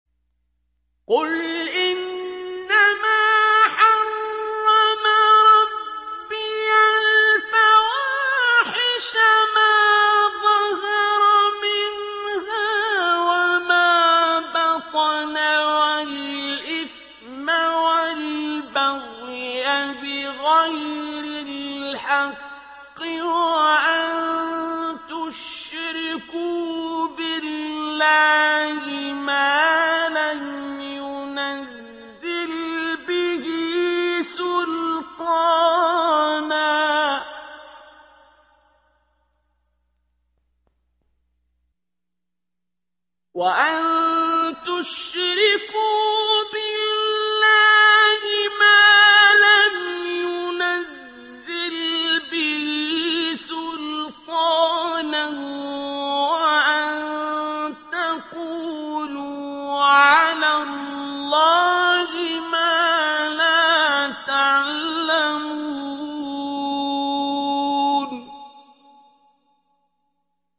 قُلْ إِنَّمَا حَرَّمَ رَبِّيَ الْفَوَاحِشَ مَا ظَهَرَ مِنْهَا وَمَا بَطَنَ وَالْإِثْمَ وَالْبَغْيَ بِغَيْرِ الْحَقِّ وَأَن تُشْرِكُوا بِاللَّهِ مَا لَمْ يُنَزِّلْ بِهِ سُلْطَانًا وَأَن تَقُولُوا عَلَى اللَّهِ مَا لَا تَعْلَمُونَ